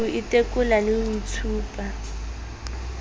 ho itekola le ho itshupa